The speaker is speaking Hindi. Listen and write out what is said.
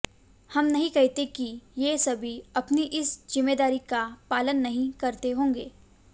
हम नहीं कहते कि ये सभी अपनी इस जिम्मेदारी का पालन नहीं करते होंगे